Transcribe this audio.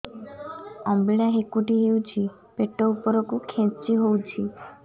ଅମ୍ବିଳା ହେକୁଟୀ ହେଉଛି ପେଟ ଉପରକୁ ଖେଞ୍ଚି ହଉଚି